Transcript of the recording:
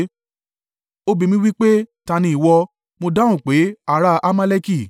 “Ó bi mí wí pé, ‘Ta ni ìwọ?’ “Mo dáhùn pé, ‘Ará a Amaleki.’